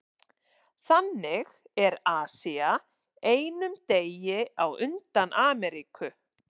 Þannig er Asía einum degi á undan Ameríku.